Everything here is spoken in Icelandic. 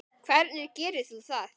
Hvernig gerir þú það?